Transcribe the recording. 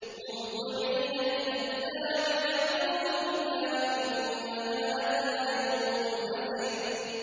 مُّهْطِعِينَ إِلَى الدَّاعِ ۖ يَقُولُ الْكَافِرُونَ هَٰذَا يَوْمٌ عَسِرٌ